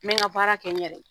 N bɛ n ka baara kɛ n yɛrɛ ye.